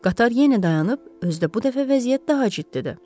Qatar yenə dayanıb, özü də bu dəfə vəziyyət daha ciddidir.